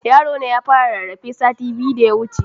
Yarona ya fara rarrafe sati biyu da yawuce